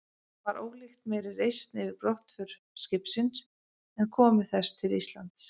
Var ólíkt meiri reisn yfir brottför skipsins en komu þess til Íslands.